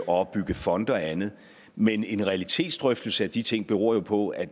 opbygge fonde og andet men en realitetsdrøftelse af de ting beror jo på at